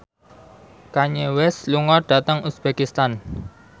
Kanye West lunga dhateng uzbekistan